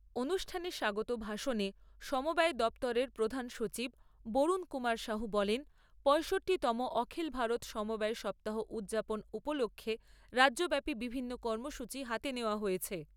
অনুষ্ঠানে স্বাগত ভাষণে সমবায় দপ্তরের প্রধান সচিব বরুণ কুমার সাহু বলেন, পয়ষট্টিতম অখিল ভারত সমবায় সপ্তাহ উদযাপন উপলক্ষে রাজ্যব্যাপী বিভিন্ন কর্মসূচী হাতে নেওয়া হয়েছে।